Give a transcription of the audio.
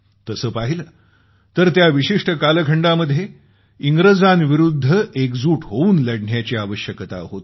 तसं पाहिलं तर त्या विशिष्ट कालखंडामध्ये इंग्रजांविरूद्ध एकजूट होऊन लढण्याची आवश्यकता होती